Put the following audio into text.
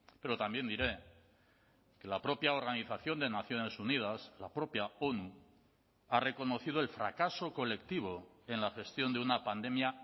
pero también diré que la propia organización de naciones unidas la propia onu ha reconocido el fracaso colectivo en la gestión de una pandemia